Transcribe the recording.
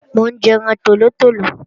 Mò ń jẹran tòlótòló